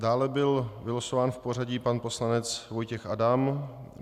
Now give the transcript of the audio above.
Dále byl vylosován v pořadí pan poslanec Vojtěch Adam.